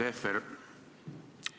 Härra Tehver!